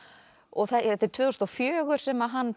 þetta er tvö þúsund og fjögur sem hann